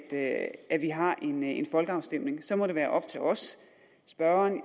at at vi har en en folkeafstemning så må det være op til os spørgeren